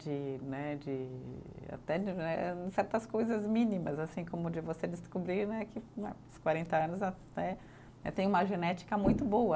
De né, de até certas coisas mínimas, assim como de você descobrir né que né os quarenta anos até tem uma genética muito boa.